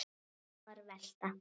Örfáar velta.